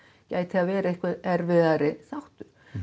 gæti það verið erfiðari þáttur